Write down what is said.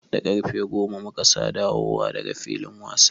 Da ƙarfe goma mu ka dawo da ga filin wasa.